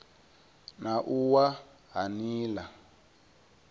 na u wa ha nila